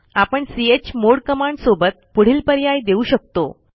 आपण chmod command सोबत पुढील पर्याय देऊ शकतो